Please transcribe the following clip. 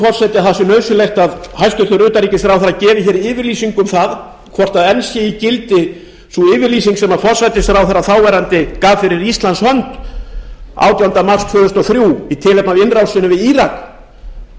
forseti að hæstvirtur utanríkisráðherra gefi yfirlýsingu um hvort enn sé í gildi sú yfirlýsing sem þáverandi forsætisráðherra gaf fyrir íslands hönd átjánda mars tvö þúsund og þrjú í tilefni af innrásinni í írak